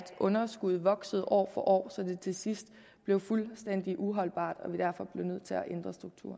underskuddet voksede år for år så det til sidst blev fuldstændig uholdbart